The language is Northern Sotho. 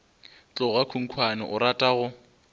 tloga khunkhwane o rata go